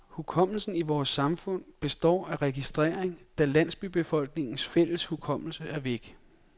Hukommelsen i vores samfund består af registrering, da landsbybefolkningens fælles hukommelse er væk.